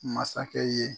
Masakɛ ye